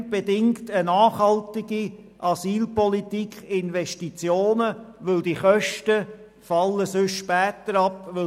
Zudem bedingt eine nachhaltige Asylpolitik Investitionen, weil die Kosten sonst später anfallen: